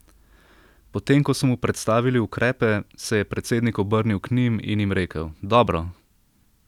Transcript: Potem ko so mu predstavili ukrepe, se je predsednik obrnil k njim in jim rekel: 'Dobro!